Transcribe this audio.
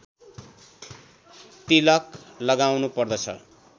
तिलक लगाउनु पर्दछ